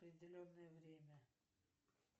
определенное время